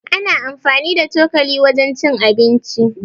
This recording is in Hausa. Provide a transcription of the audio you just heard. Ana anfani da cokali wajen cin abinci.